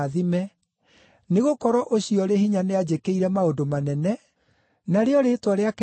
nĩgũkorwo Ũcio ũrĩ Hinya nĩanjĩkĩire maũndũ manene, narĩo rĩĩtwa rĩake nĩ rĩtheru.